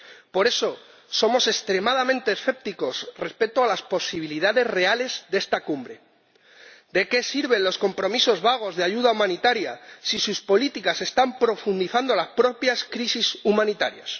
Por eso, somos extremadamente escépticos respecto a las posibilidades reales de esta Cumbre. ¿De qué sirven los compromisos vagos de ayuda humanitaria si sus políticas están agravando las propias crisis humanitarias?